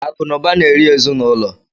Akụ na ụba na-eri ezinụlọ.